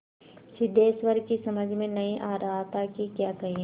सिद्धेश्वर की समझ में नहीं आ रहा था कि क्या कहे